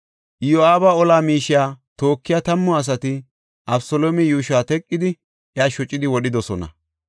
Iyo7aaba ola miishiya tookiya tammu asati Abeseloome yuushuwa teqidi iya shocidi wodhidosona.